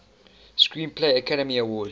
screenplay academy award